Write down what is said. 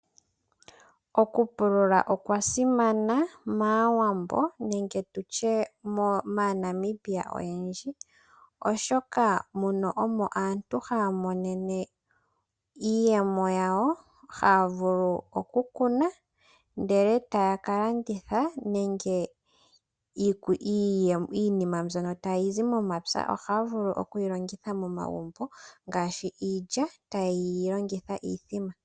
Okupulula okwasimana mAawambo nenge maaNamibia oyendji , oshoka munu omo aantu haya monenemo iiyemo yawo. Ohaya vulu okukuna ndele etaya ka landitha nenge iinima mbyono tayi zi momapya ohaya vulu okuyilongitha momagumbo ngaashi iilya tayeyi longitha miimbombo.